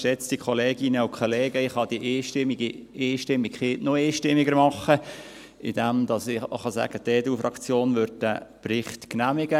Ich kann die Einstimmigkeit noch einstimmiger machen, indem ich sagen kann, dass die EDU-Fraktion den Bericht genehmigt.